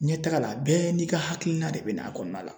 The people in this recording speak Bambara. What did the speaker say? Ɲɛtaga la bɛɛ n'i ka hakilina de bɛ n'a kɔnɔna la